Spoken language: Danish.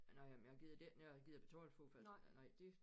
Nåh jamen men jeg gider det ikke noget jeg gider betale for nej det